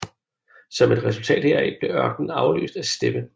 Som et resultat heraf blev ørkenen afløst af steppe